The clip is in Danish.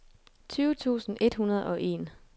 tyve tusind et hundrede og en